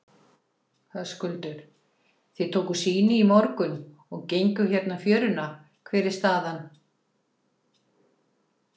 Höskuldur: Þið tókuð sýni í morgun og genguð hérna fjöruna, hver er staðan?